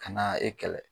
Ka na e kɛlɛ